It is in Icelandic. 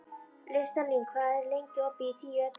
Listalín, hvað er lengi opið í Tíu ellefu?